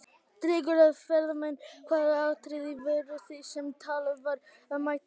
Dregur að ferðamenn Hvaða atriði voru það sem talið var að mætti bæta?